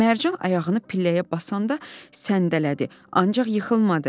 Mərcan ayağını pilləyə basanda səndələdi, ancaq yıxılmadı.